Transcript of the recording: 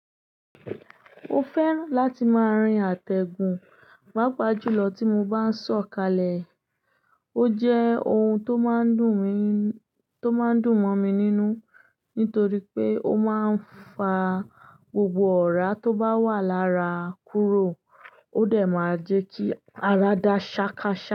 Ó fẹ́ràn láti máa rin àtẹ̀gùn, pàápàá jùlọ tí mo bá ń sọ̀kalẹ̀. Ó jẹ́ ohun tó máa ń dùn mi, tó máa ń dùn mọ́ mi nínú nítorí pé ó máa ń fa gbogbo ọ̀rá tó bá wà lára kúrò. Ó dẹ̀ máa jẹ́ kí ara dá ṣákàṣà.